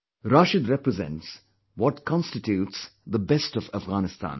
Rashid represents what constitutes the best of Afghanistan